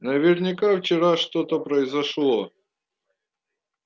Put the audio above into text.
наверняка вчера что-то произошло